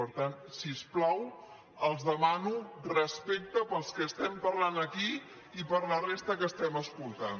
per tant si us plau els demano respecte pels que estem parlant aquí i per la resta que estem escoltant